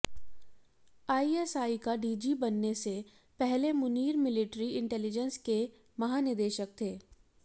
ISI का DG बनने से पहले मुनीर मिलिट्री इंटेंलिजेंस के महानिदेशक थे